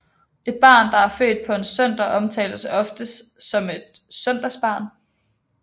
Et barn der er født på en søndag omtales ofte som et søndagsbarn